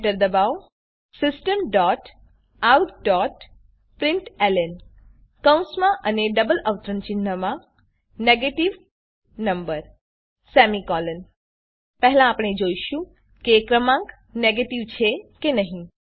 enter દબાવો systemoutપ્રિન્ટલન કૌંસમાં અને ડબલ અવતરણ ચિહ્નમાં નેગેટિવ નંબર પહેલા આપણે જોઈશું કે ક્રમાંક નેગેટીવ છે કે નહી